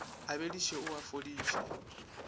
a bediše o a fodiše